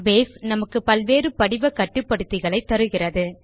base நமக்கு பல்வேறு படிவ கட்டுப்படுத்திகளை தருகிறது